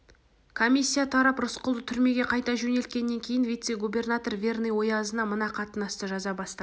комиссия тарап рысқұлды түрмеге қайта жөнелткеннен кейін вице-губернатор верный оязына мына қатынасты жаза бастады